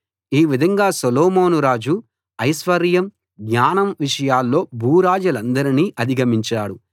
ఈ విధంగా సొలొమోను రాజు ఐశ్వర్యం జ్ఞానం విషయాల్లో భూరాజులందరినీ అధిగమించాడు